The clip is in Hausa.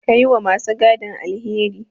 Kar yi wa ma su gadin alheri.